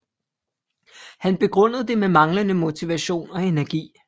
Han begrundede det med manglende motivation og energi